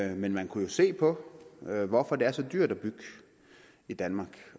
jeg men man kunne jo se på hvorfor det er så dyrt at bygge i danmark